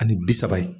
Ani bi saba ye